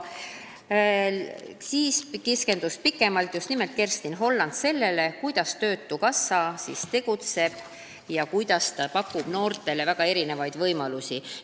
Seejärel keskendus Kerstin Holland pikemalt just nimelt sellele, kuidas töötukassa tegutseb, sh kuidas ta pakub noortele väga erinevaid võimalusi.